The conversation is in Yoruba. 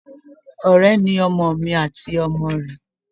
Ọ̀rẹ́ ni ọmọ mi àti ọmọ rẹ.